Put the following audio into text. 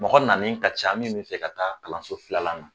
Mɔgɔ nanen ka ca min be fɛ ka taa kalanso filalan na